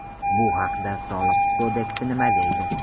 Bu haqida Soliq kodeksi nima deydi?